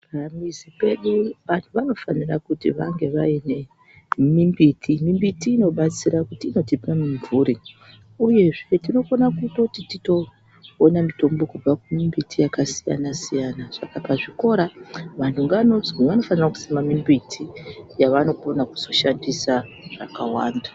Pamuzi pedu vantu vanofanira kuti vaine mimbiti. Mimbiti inobatsira kuti inotipa mimvuri uyezve tinokona kutoti titoona mitombo kubva kumbiti yakasiyana siyana saka pazvikora vanhu vanodzi vanofanira kusima mimbiti yavanozokona zoshandisa zvakawanda.